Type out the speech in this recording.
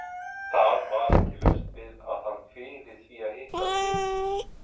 Það var ekki laust við að hann kviði því að hitta Tildu.